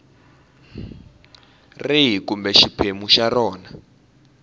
rihi kumbe xiphemu xa rona